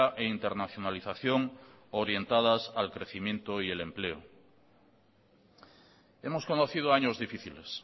e internacionalización orientadas al crecimiento y al empleo hemos conocido años difíciles